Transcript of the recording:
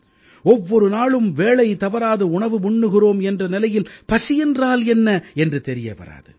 ஒவ்வொரு நாளும் வேளை தவறாது உணவு உண்ணுகிறோம் என்ற நிலையில் பசி என்றால் என்ன என்று தெரிய வராது